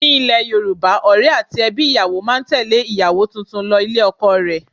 Ní ile Yorùbá, Ọ̀rẹ́ àti ẹbí ìyàwó máa tẹle ìyàwó tuntun lọ ilé ọkọ rẹ̀.